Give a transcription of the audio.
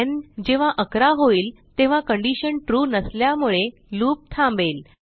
न् जेव्हा11 होईल तेव्हा कंडिशन ट्रू नसल्यामुळे लूप थांबेल